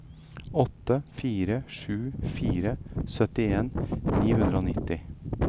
åtte fire sju fire syttien ni hundre og nitti